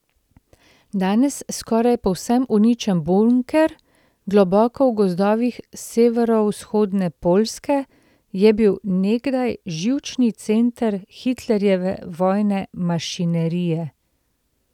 Danes skoraj povsem uničen bunker, globoko v gozdovih severovzhodne Poljske, je bil nekdaj živčni center Hitlerjeve vojne mašinerije.